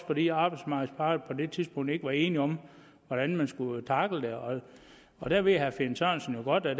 fordi arbejdsmarkedets parter på det tidspunkt ikke var enige om hvordan man skulle tackle det og der ved herre finn sørensen jo godt at